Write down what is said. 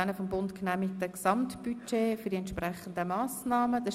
Wir kommen zu Traktandum 58.